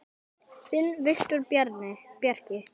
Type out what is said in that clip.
Þinn Viktor Bjarki.